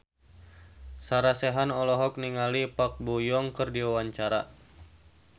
Sarah Sechan olohok ningali Park Bo Yung keur diwawancara